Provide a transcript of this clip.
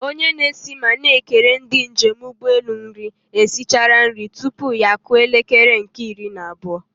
Onye na-esi ma na-ekere ndị njem ụgbọelu nri esichala nri tupu ya akụọ elekere nke iri na abụọ.